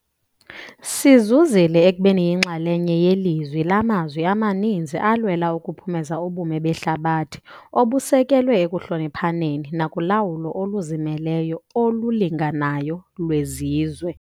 Sizuzile ekubeni yinxalenye yelizwi lamazwi amaninzi alwela ukuphumeza ubume behlabathi obusekelwe ekuhloniphaneni nakulawulo oluzimeleyo olulinganayo lwezizwe.